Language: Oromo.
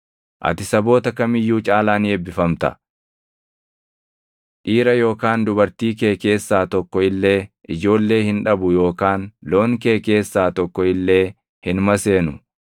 Ati saboota kam iyyuu caalaa ni eebbifamta; dhiira yookaan dubartii kee keessaa tokko illee ijoollee hin dhabu yookaan loon kee keessaa tokko illee hin maseenu.